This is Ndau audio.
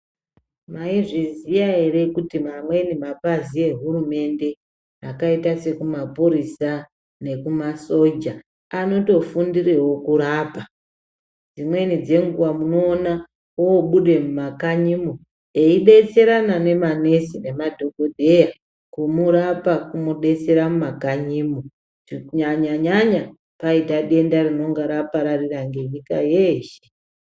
Mwaizviziya ere kuti mamweni mapazi ehurumende akaita sekumapurisa nekumasoja anotofundirewo kurapa. Dzimweni dzenguwa munoona obuda mumakanyimwo eidetserana nemanesi nemadhokodheya kumurapa kumudetsera mumakanyimwo . Kunyanya nyanya paita denda rinonga rapararira nenyika yeshe.